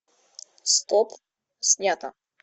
стоп снято